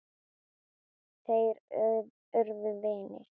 Þeir urðu vinir.